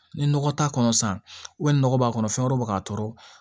Ni nɔgɔ t'a kɔnɔ sisan nɔgɔ b'a kɔnɔ fɛn wɛrɛ bɛ k'a tɔɔrɔ